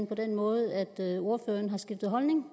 på den måde at ordføreren har skiftet holdning